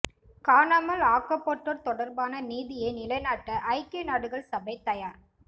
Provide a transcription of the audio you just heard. காணாமல் ஆக்கப்பட்டோர் தொடர்பான நீதியை நிலைநாட்ட ஐக்கிய நாடுகள் சபை தயார்